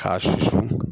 K'a susu